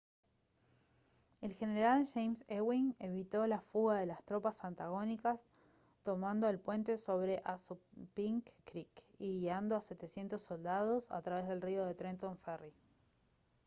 el general james ewing evitó la fuga de las tropas antagónicas tomando el puente sobre assunpink creek y guiando a 700 soldados a través del río en trenton ferry